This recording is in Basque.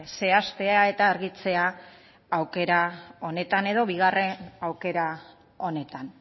zehaztea eta argitzea aukera honetan edo bigarren aukera honetan